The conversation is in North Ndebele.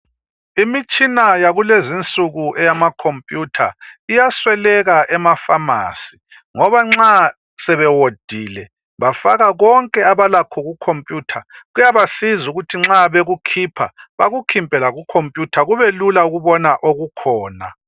Imitshina yakulezi nsuku eyama computer iyasweleka emapharmacy ngoba nxa sebewodile bafaka konke abalakho ku computer. Kuyabasiza ukuthi nxa bekukhipha, bakukhiphe laku computer kube lula ukubona okukhona .